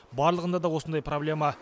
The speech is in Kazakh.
барлығында да осындай проблема